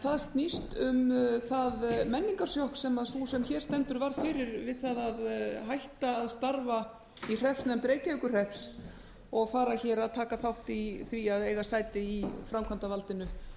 það snýst um það menningarsjokk sem sú sem hér stendur varð fyrir við það að hætta að starfa í hreppsnefnd reykjavíkurhrepps og fara hér að taka þátt í því að eiga sæti í framkvæmdarvaldinu